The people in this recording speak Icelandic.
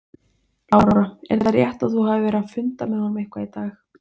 Lára: Er það rétt að þú hafir verið að funda með honum eitthvað í dag?